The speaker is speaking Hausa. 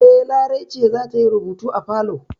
E, Larai ce za ta yi rubutu a falo.